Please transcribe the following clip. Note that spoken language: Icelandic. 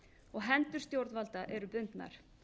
og hendur stjórnvalda eru bundnar